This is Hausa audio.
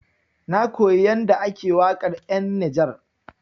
Na koyi yanda ake waƙar 'yan Nijar.